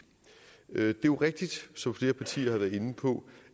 er jo rigtigt som flere partier har været inde på